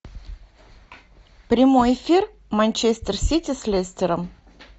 прямой эфир манчестер сити с лестером